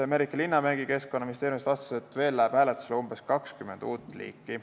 Merike Linnamägi Keskkonnaministeeriumist vastas, et veel läheb hääletusele umbes 20 uut liiki.